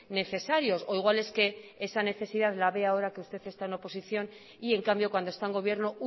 necesarios o igual es que esa necesidad la ve ahora que usted está en oposición y en cambio cuando está en gobierno